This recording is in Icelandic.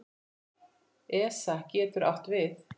ESA getur átt við